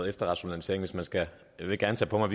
efterrationalisering jeg vil gerne tage på mig